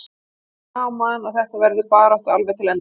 Það er gaman að þetta verður barátta alveg til enda.